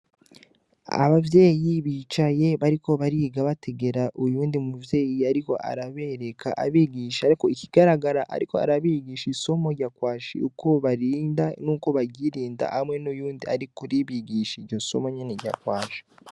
Abavyeyi bicaye bariko bariga bategera uyundi muvyeyi, ariko arabereka abigisha, ariko ikigaragara, ariko arabigisha isomo ryakwashie uko barinda n'uko bagirinda hamwe n'uyundi ari kuri bigisha irjo somo nyene rya kwasha.